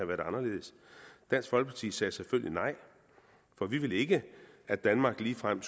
været anderledes dansk folkeparti sagde selvfølgelig nej for vi vil ikke at danmark ligefrem